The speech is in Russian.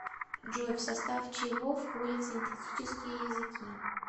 джой в состав чего входит синтетические языки